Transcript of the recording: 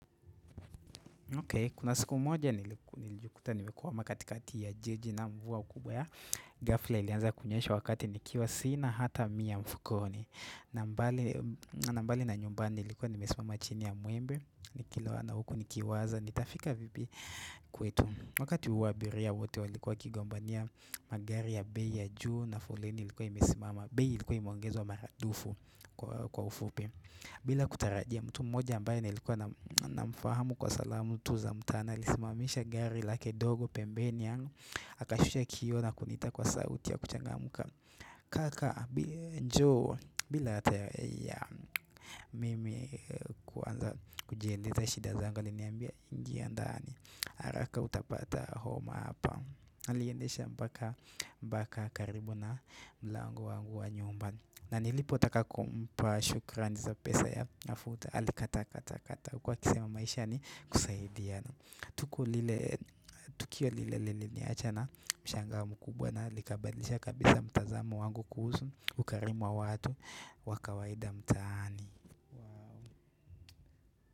Kuna siku moja nilijikuta nimekwama katikati ya jiji na mvua kubwa ghafla ilianza kunyesha wakati nikiwa sina hata mia mfukoni na na mbali na nyumbani nilikuwa nimesimama chini ya mwembe Nikiloana huku nikiwaza nitafika vipi kwetu wakati huo abiria wote walikuwa wakigombania magari ya bei ya juu na foleni ilikuwa imesimama bei ilikuwa imeongezwa mara dufu kwa ufupi bila kutarajia mtu mmoja ambaye nilikuwa namfahamu kwa salamu tu za mtaani alisimamisha gari lake dogo pembeni yangu akashusha kioo na kuniita kwa sauti ya kuchangamka Kaka njoo bila hata ya mimi kujieleza shida zangu aliniambia ingia ndani haraka utapata homa hapa Aliendesha mpaka mpaka karibu na mlango wangu wa nyumba na nilipotaka kumpa shukrani za pesa ya mafuta alikata kata kata huku akisema maisha ni kusaidia tuko lile Tukio lile liliniacha na mshangao mkubwa na likabadilisha kabisa mtazamo wangu kuhusu ukarimu wa watu wa kawaida mtaani.